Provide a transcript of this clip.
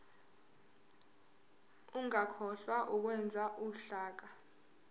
ungakhohlwa ukwenza uhlaka